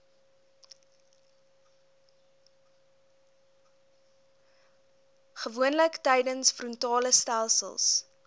gewoonlik tydens frontalestelsels